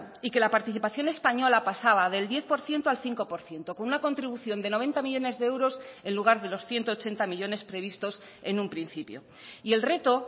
y que la participación española pasaba del diez por ciento al cinco por ciento con una contribución de noventa millónes de euros en lugar de los ciento ochenta millónes previstos en un principio y el reto